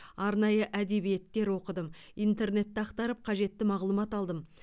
арнайы әдебиеттер оқыдым интернетті ақтарып қажетті мағлұмат алдым